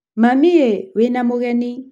Mami ĩ, wĩna mũgeni.